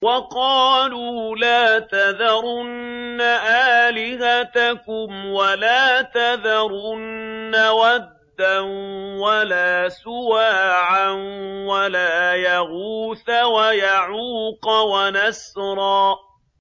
وَقَالُوا لَا تَذَرُنَّ آلِهَتَكُمْ وَلَا تَذَرُنَّ وَدًّا وَلَا سُوَاعًا وَلَا يَغُوثَ وَيَعُوقَ وَنَسْرًا